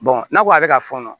n'a ko ale ka fɔɔnɔ